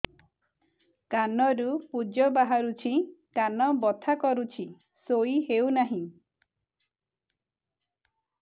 କାନ ରୁ ପୂଜ ବାହାରୁଛି କାନ ବଥା କରୁଛି ଶୋଇ ହେଉନାହିଁ